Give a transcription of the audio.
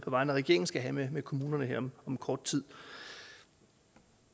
vegne af regeringen skal have med kommunerne her om kort tid